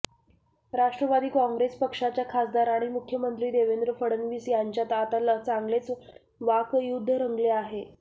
राष्ट्रवादी काँग्रेस पक्षाच्या खासदार आणि मुख्यमंत्री देवेंद्र फडणवीस यांच्यात आता चांगलेच वाकयुद्ध रंगले आहे